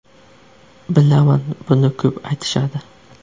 Bilaman, buni ko‘p aytishadi.